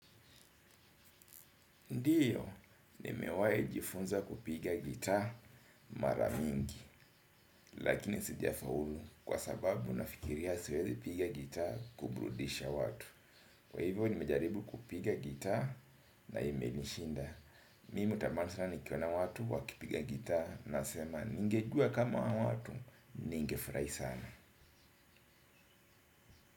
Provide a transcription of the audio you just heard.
Ndiyo, nimewai jifunza kupiga gita maramingi, lakini sijafaulu kwa sababu nafikiria siwezi piga gita kuburudisha watu. Kwa hivyo, nimejaribu kupiga gita na imenishinda. Mimi tamasaha nikiona watu wakipiga gitaa na sema, ningejua kama hawa watu, ninge furahi sana.